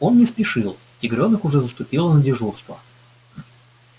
он не спешил тигрёнок уже заступила на дежурство